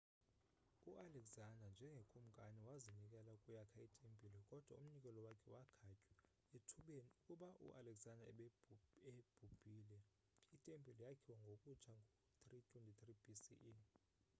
ualexander njengekumkani wazinikela ukuyakha itempile kodwa umnikelo wakhe wakhatywa ethubeni akuba u alexander ebhubhile itempile yakhiwa ngokutsha ngo-323 bce